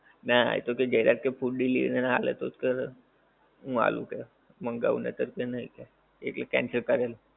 નાં એ તો કે જયરાજ કે food delivery નાં આલે તો જ કરો, હું આલુ કે મંગાવ ને ચલ, કે નહિ કે ઈ કે cancel કર એમ